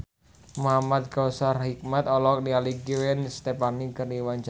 Muhamad Kautsar Hikmat olohok ningali Gwen Stefani keur diwawancara